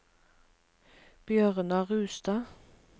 Bjørnar Rustad